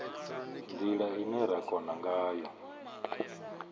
ndila ine ra kona ngayo